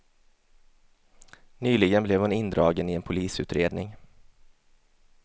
Nyligen blev hon indragen i en polisutredning.